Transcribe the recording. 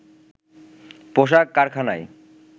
পোশাক কারখানায়